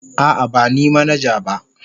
A'a, ba ni manaja ba.